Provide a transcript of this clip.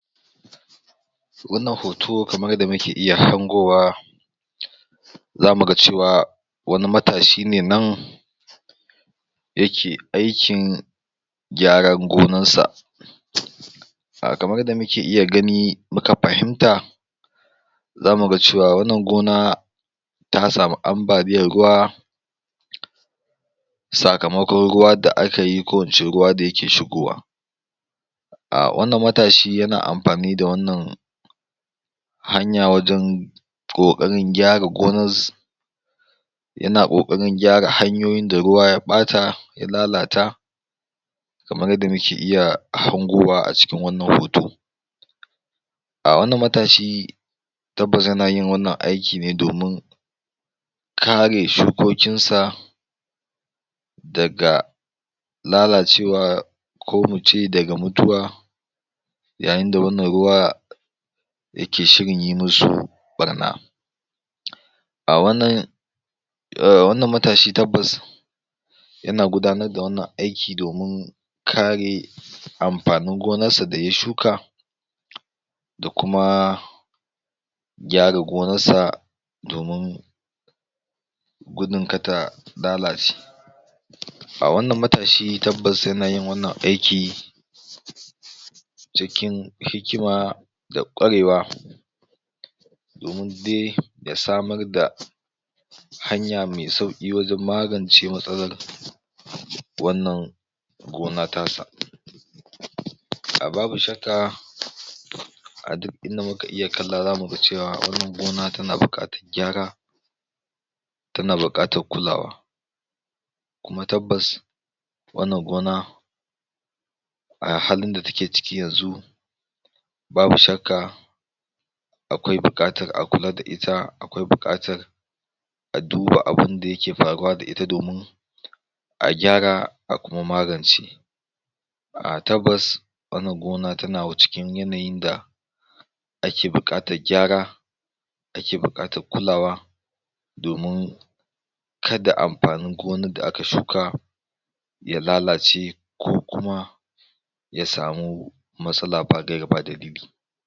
Wannan hoto kamar yadda muke iya hangowa zamu ga cewa wani atshi shi ne nan yake aikin gyaran gonarsa A kamar yadda muke iya gani, muka fahimta, zamu ga cewa wannan gona, ta samu am baliyar ruwa, sakamakon ruwa daakayi ko ince ruwa da yake shigowa. Awannan matashi yana amfani da wannan hanya wajen, ƙoƙarin gyara gonarsa yana ƙoƙarin gyara hanyoyin da ruwa ya ɓata, ya lalata, kamar yadda muke iya hangowa a cikin wannan hoto. A wannn matashi, tabbas yana yin wannan aiki ne domin kare shukokinsa daga lalacewa ko muce daga mutuwa, yayin da wannan ruwa, yake shirin yi musu ɓarna. A wannan wannnan matashi tabbas yana gudanar da wannan aiki domin, kare amfanin gonarsa da ya shuka, da kuma, gyara gonarsa, domin gudun kada ta lalace' A wannan matashi tabbas yana yin wannan aiki, cikin hikima, da ƙwarewa, domin dai ya samar da hanya mai sauki wajen magancewa wannan gona tasa. A babu shakka a duk inda mukaiya kalla za mu ga cewa wannan gona tana buƙatar gyara tana buƙatar kulawa. Kuma tabbas wannan gona a halin da take ciki yanzu, babu shakka, akwai buƙatar a kula da ita akwai buƙatar a duba abunda yake faruwa da ita domin a gyrara a kuma magance. A tabbas wannan gona tana cikin yanayin da ake buƙatar gyara, ake bukatar kulawa, domin kada amfanin gonar da aka shuka ya lalace ko kuma ya samu matsala ya bada raba da rabi.